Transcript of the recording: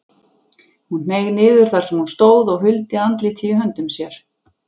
Hún hneig niður þar sem hún stóð og huldi andlitið í höndum sér.